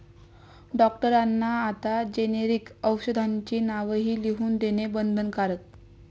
डॉक्टरांना आता जेनेरिक औषधांची नावंही लिहून देणं बंधनकारक